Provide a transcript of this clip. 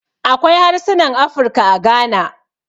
Akwai harsunan Afirka a Gana.